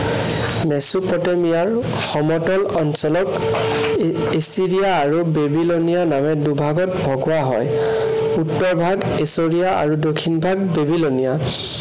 মেচুপতেমিয়াৰ সমতল অঞ্চলত এৰ ইষ্টৰিয়া আৰু বেবিলনিয়া নামে দুভাগত ভগোৱা হয়। উত্তৰ ভাগ ইষ্টৰিয়া আৰু দক্ষিণভাগ বেবিলনিয়া।